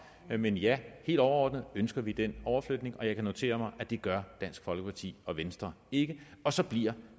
men ja helt overordnet ønsker vi den overflytning og jeg kan notere mig at det gør dansk folkeparti og venstre ikke og så bliver